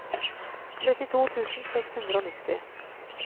trettito tusen seks hundre og nitti